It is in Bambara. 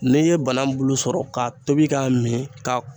N'i ye banan bulu sɔrɔ ka tobi k'a min ka